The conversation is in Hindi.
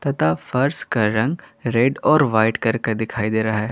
आतः फर्श का रंग रेड और वाइट करके दिखाई दे रहा है।